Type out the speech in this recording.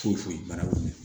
Foyi foyi bara